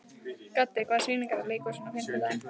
Gaddi, hvaða sýningar eru í leikhúsinu á fimmtudaginn?